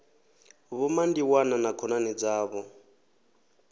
vho mandiwana na khonani dzavho